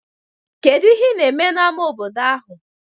Kedu ihe na-eme n'ámá obodo ahụ?